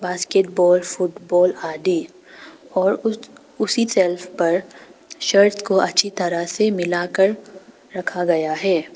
Basketball football आदि और उस उसी शेल्फ पर शर्ट को अच्छी तरह से मिलकर रखा गया है।